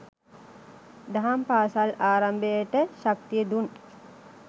දහම් පාසල් ආරම්භයට ශක්තිය දුන්